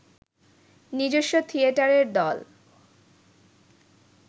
নিজস্ব থিয়েটারের দল